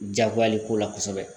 Jagoya le ko la kosɛbɛ